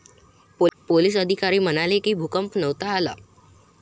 Police अधिकारी म्हणाले की, भूकंप नव्हता आला.